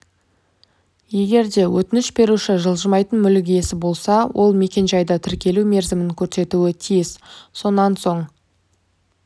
егер де өтініш беруші жылжымайтын мүлік иесі болса ол мекенжайды тіркелу мерзімін көрсетуі тиіс сонан соң